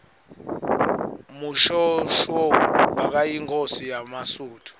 mushoeshoe bekayinkhosi yemasuthu